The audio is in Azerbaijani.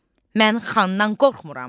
Mən xandan qorxmuram.